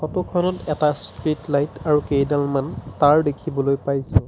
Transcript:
Photo খনত এটা street light আৰু কেইডালমান তাঁৰ দেখিবলৈ পাইছোঁ।